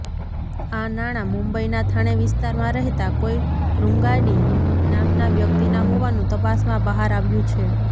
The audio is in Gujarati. આ નાણાં મુંબઇના થાણે વિસ્તારમાં રહેતા કોઇ રૂંગાડી નામના વ્યકિતના હોવાનું તપાસમાં બહાર આવ્યું છે